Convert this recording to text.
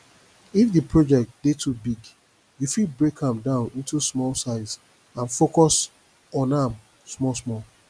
if di project dey too big you fit break am down into small size and focus on am small small